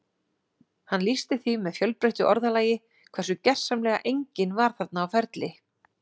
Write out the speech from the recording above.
Hann lýsti því með fjölbreyttu orðalagi hversu gersamlega enginn var þarna á ferli